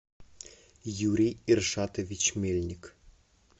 юрий иршатович мельник